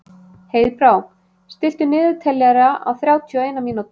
Heiðbrá, stilltu niðurteljara á þrjátíu og eina mínútur.